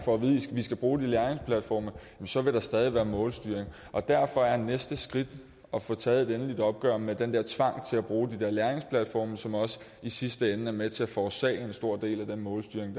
skal bruge de læringsplatforme så vil der stadig være målstyring og derfor er næste skridt at få taget et endeligt opgør med den tvang til at bruge de læringsplatforme som også i sidste ende er med til at forårsage en stor del af den målstyring